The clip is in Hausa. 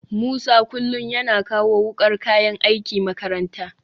Musa kullum yana kawo wukar kayan aiki makaranta